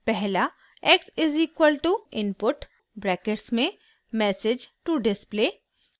पहला x= input brackets में message to display